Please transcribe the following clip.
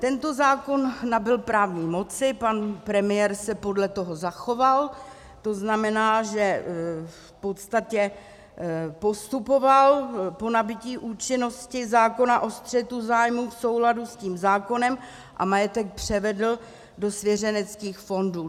Tento zákon nabyl právní moci, pan premiér se podle toho zachoval, to znamená, že v podstatě postupoval po nabytí účinnosti zákona o střetu zájmů v souladu s tím zákonem a majetek převedl do svěřeneckých fondů.